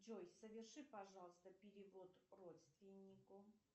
джой соверши пожалуйста перевод родственнику